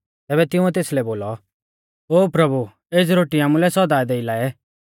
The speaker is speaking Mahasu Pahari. तैबै तिंउऐ तेसलै बोलौ ओ प्रभु एज़ी रोटी आमुलै सौदा देई लाऐ